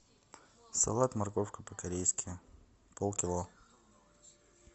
салат морковка по корейски полкило